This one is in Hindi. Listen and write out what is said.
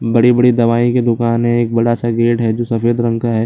बड़ी-बड़ी दवाई की दुकान हैं एक बड़ा स गेट है जो सफेद रंग है।